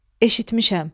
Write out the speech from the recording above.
Eşitmişəm.